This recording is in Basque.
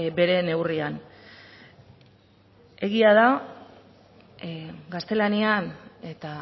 bere neurrian egia da gaztelanian eta